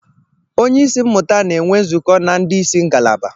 Onye isi mmụta na-enwe nzukọ na ndị isi ngalaba.